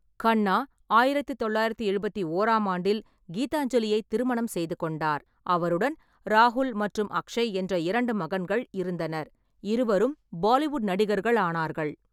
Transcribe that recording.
கண்ணா ஆயிரத்து தொள்ளாயிரத்து எழுபத்தி ஓராம் ஆண்டில் கீதாஞ்சலியை திருமணம் செய்து கொண்டார், அவருடன் ராகுல் மற்றும் அக்ஷய் என்ற இரண்டு மகன்கள் இருந்தனர்; இருவரும் பாலிவுட் நடிகர்களானார்கள்.